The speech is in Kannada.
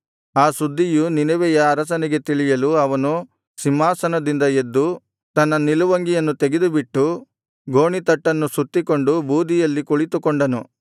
ಆ ಸುದ್ದಿಯು ನಿನೆವೆಯ ಅರಸನಿಗೆ ತಿಳಿಯಲು ಅವನು ಸಿಂಹಾಸನದಿಂದ ಎದ್ದು ತನ್ನ ನಿಲುವಂಗಿಯನ್ನು ತೆಗೆದುಬಿಟ್ಟು ಗೋಣಿತಟ್ಟನ್ನು ಸುತ್ತಿಕೊಂಡು ಬೂದಿಯಲ್ಲಿ ಕುಳಿತುಕೊಂಡನು